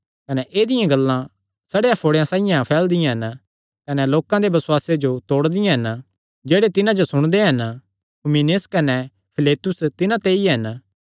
कने ऐदिआं गल्लां सड़ेयो फोड़े साइआं फैलदियां हन कने लोकां दे बसुआसे जो तोड़दियां हन जेह्ड़े तिन्हां जो सुणदे हन हुमिनयुस कने फिलेतुस तिन्हां ते ई हन